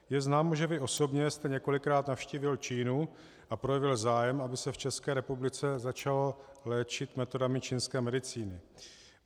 Je známo, že vy osobně jste několikrát navštívil Čínu a projevil zájem, aby se v České republice začalo léčit metodami čínské medicíny.